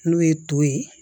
N'o ye to ye